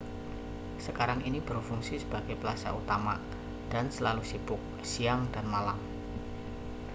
sekarang ini berfungsi sebagai plasa utama dan selalu sibuk siang dan malam